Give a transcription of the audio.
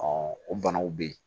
o banaw bɛ yen